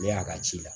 Ne y'a ka ci la